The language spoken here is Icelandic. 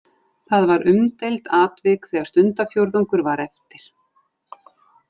Það var umdeild atvik þegar stundarfjórðungur var eftir.